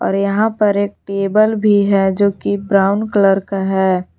और यहां पर एक टेबल भी है जो कि ब्राउन कलर का है।